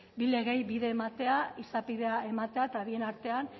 bi legeei bide ematea izapidea ematea eta bien artean